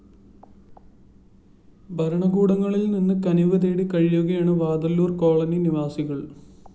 ഭരണകൂടങ്ങളില്‍ നിന്ന് കനിവ് തേടി കഴിയുകയാണ് വാതല്ലൂര്‍ കോളനി നിവാസികള്‍